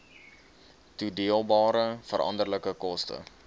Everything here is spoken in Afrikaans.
toedeelbare veranderlike koste